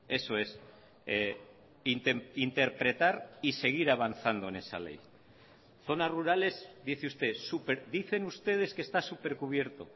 eso es interpretar y seguir avanzando en esa ley zonas rurales dice usted dicen ustedes que está super cubierto